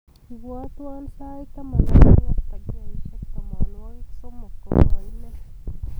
Ibwatwon sait taman ak aeng ak takikaishek tamanwogik somok kogaimen